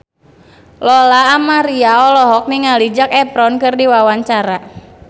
Lola Amaria olohok ningali Zac Efron keur diwawancara